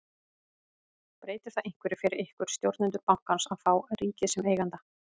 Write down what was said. Breytir það einhverju fyrir ykkur, stjórnendur bankans að fá ríkið sem eiganda?